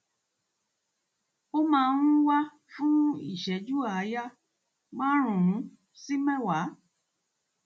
ó máa ń wà fún ìṣẹjú àáyá márùnún sí mẹwàá